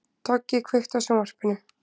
Toggi, kveiktu á sjónvarpinu.